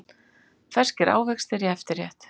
Ferskir ávextir í eftirrétt